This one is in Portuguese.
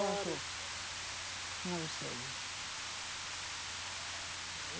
Eu acho. Não sei.